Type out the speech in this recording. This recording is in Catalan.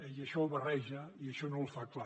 i això ho barreja i això no ho fa clar